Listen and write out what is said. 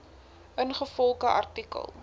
ingevolge artikel